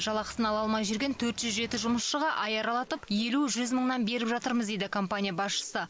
жалақысын ала алмай жүрген төрт жүз жеті жұмысшыға ай аралатып елу жүз мыңнан беріп жатырмыз дейді компания басшысы